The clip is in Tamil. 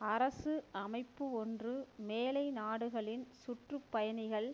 அரசு அமைப்பு ஒன்று மேலை நாடுகளின் சுற்று பயணிகள்